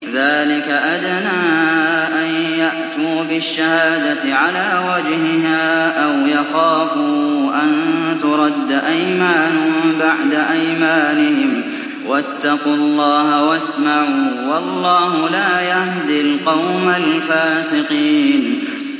ذَٰلِكَ أَدْنَىٰ أَن يَأْتُوا بِالشَّهَادَةِ عَلَىٰ وَجْهِهَا أَوْ يَخَافُوا أَن تُرَدَّ أَيْمَانٌ بَعْدَ أَيْمَانِهِمْ ۗ وَاتَّقُوا اللَّهَ وَاسْمَعُوا ۗ وَاللَّهُ لَا يَهْدِي الْقَوْمَ الْفَاسِقِينَ